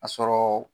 A sɔrɔ